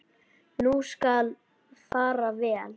Nú skal fara vel.